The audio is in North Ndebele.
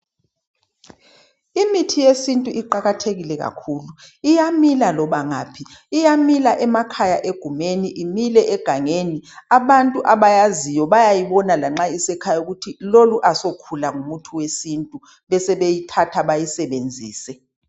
Imithi yesintu iqakathekile kakhulu, iyamila loba ngaphi iyamila emakhaya egumeni imile egangeni abantu abayaziyo bayayibona lanxa isikhaya ukuthi lolu asokhula ngumuthi wesintu besebeyithatha beyisebenzise.